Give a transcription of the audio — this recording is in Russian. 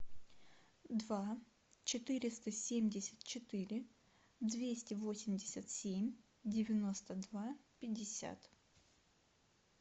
два четыреста семьдесят четыре двести восемьдесят семь девяносто два пятьдесят